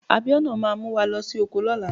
Abiona máa mu wa losi oko lóla